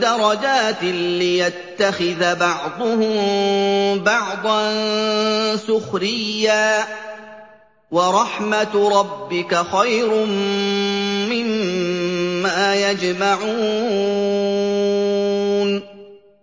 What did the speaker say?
دَرَجَاتٍ لِّيَتَّخِذَ بَعْضُهُم بَعْضًا سُخْرِيًّا ۗ وَرَحْمَتُ رَبِّكَ خَيْرٌ مِّمَّا يَجْمَعُونَ